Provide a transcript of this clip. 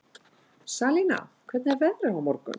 Salína, hvernig er veðrið á morgun?